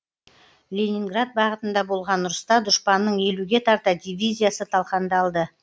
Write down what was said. ленинград бағытында болған ұрыста дұшпанның елуге тарта дивизиясы талқандалды